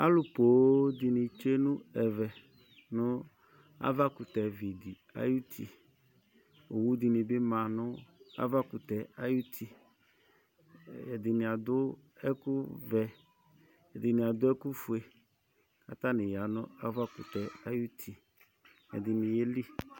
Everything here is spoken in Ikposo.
Alʊ ƒoo dɩnɩ tsue nʊ ɛvɛ nu avakʊtɛvi di ayʊtɩ Owʊ dinɩbɩ ma nʊ avakʊtɛ ayʊtɩ Ɛdini adu ɛku vɛ, ɛdɩnɩ adʊ ɛku fue katanɩ aya navakutɛ ayuti, ɛdini yelɩ